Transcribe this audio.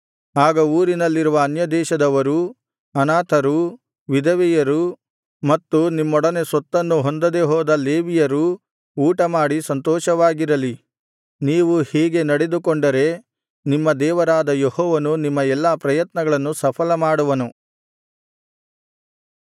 ಆಗ ಊರಿನಲ್ಲಿರುವ ಅನ್ಯದೇಶದವರೂ ಅನಾಥರು ವಿಧವೆಯರೂ ಮತ್ತು ನಿಮ್ಮೊಡನೆ ಸ್ವತ್ತನ್ನು ಹೊಂದದೆಹೋದ ಲೇವಿಯರೂ ಊಟಮಾಡಿ ಸಂತೋಷವಾಗಿರಲಿ ನೀವು ಹೀಗೆ ನಡೆದುಕೊಂಡರೆ ನಿಮ್ಮ ದೇವರಾದ ಯೆಹೋವನು ನಿಮ್ಮ ಎಲ್ಲಾ ಪ್ರಯತ್ನಗಳನ್ನು ಸಫಲಮಾಡುವನು